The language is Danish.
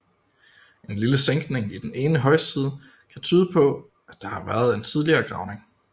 En lille sænkning i den ene højside kan tyde på at der har været en tidligere gravning